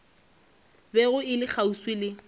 bego e le kgauswi le